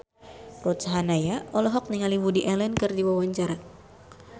Ruth Sahanaya olohok ningali Woody Allen keur diwawancara